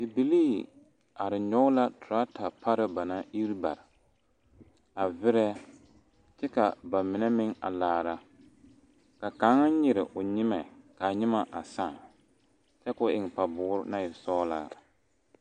Bibilii are nyɔge la teraata pare ba naŋ iri bare a verɛ kyɛ ka ba mine meŋ a kaara ka kaŋ nyere o nyemɛ k,a nyeme a sãã kyɛ k,o eŋ paboore naŋ e sɔglaa.